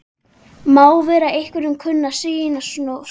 Má vera að einhverjum kunni að sýnast svo.